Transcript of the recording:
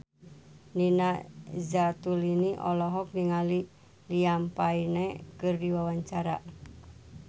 Nina Zatulini olohok ningali Liam Payne keur diwawancara